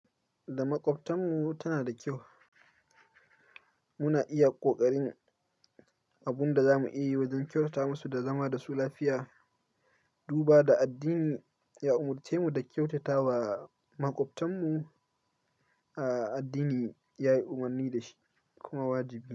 Da maƙwabtanmu tana da kyau. Muna iya ƙoƙarin abin da za mu iya yi wajen kyautata masu da zama da su lafiya. Duba da addini ya umarce mu da kyautata wa maƙwabtanmu, a addini yayi umarni da shi kuma wajibi ne.